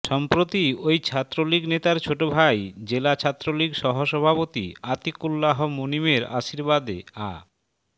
সম্প্রতি ওই ছাত্রলীগ নেতার ছোট ভাই জেলা ছাত্রলীগ সহসভাপতি আতিকুল্লাহ মুনীমের আশীর্বাদে আ